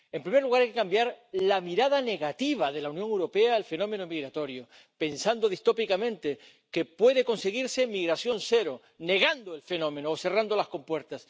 En primer lugar, en cambiar la mirada negativa de la Unión Europea al fenómeno migratorio, pensando distópicamente que puede conseguirse migración cero, negando el fenómeno o cerrando las compuertas.